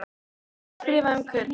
Ég ætla að skrifa um Kötu